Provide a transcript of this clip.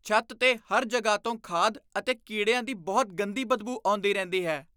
ਛੱਤ 'ਤੇ ਹਰ ਜਗ੍ਹਾ ਤੋਂ ਖਾਦ ਅਤੇ ਕੀੜਿਆਂ ਦੀ ਬਹੁਤ ਗੰਦੀ ਬਦਬੂ ਆਉਂਦੀ ਰਹਿੰਦੀ ਹੈ।